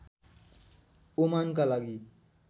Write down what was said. ओमानका लागि